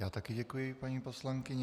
Já také děkuji, paní poslankyně.